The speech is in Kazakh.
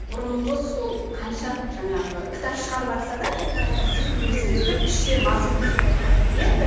бұрынғы сол қанша жаңағы кітап шығарыватса да қайта қайта сыртын өзгертіп іші мазмұны солай қала береді